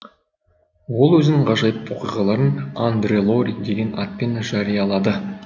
ол өзінің ғажайып оқиғаларын андре лори деген атпен жариялады